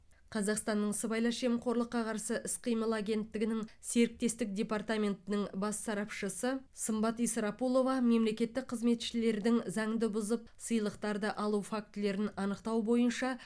қазақстанның сыбайлас жемқорлыққа қарсы іс қимыл агенттігінің серіктестік департаментінің бас сарапшысы сымбат исрапулова мемлекеттік қызметшілердің заңды бұзып сыйлықтарды алу фактілерін анықтау бойынша